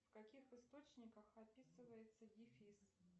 в каких источниках описывается дефис